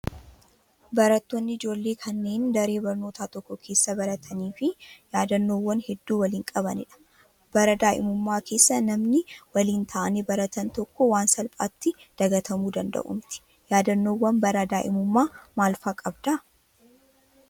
Barattoonni ijoollee kanneen daree barnootaa tokko keessa barattanii fi yaadannoowwan hedduu waliin qabanidha. Bara daa'imummaa keessa namni waliin ta'anii baratan tokko waan salphaatti dagatamuu danda'u miti. Yaadannoowwan bara daa'imummaa maal fa'aa qabdaa?